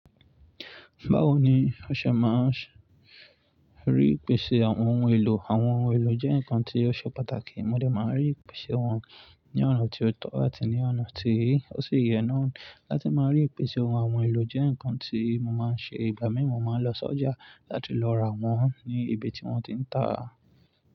Báwo ni o ṣe máa rí ìpèsè àwọn ohun èlò? Àwọn ohun èlò jẹ́ nǹkan tí ó ṣe pàtàkì. Mo dẹ máa n rí ìpèsè wọn ní ọ̀nà tó tọ́ àti ní ọ̀nà tí ó sì yẹ náà láti máa rí ìpèsè ohun àwọn ohun èlò jẹ́ nǹkan tí mo máa ń ṣe. Ìgbà mí mú ma lọ sí ọjà láti lọ rà wọ́n ní ibi tí wọ́n ti ń tàá.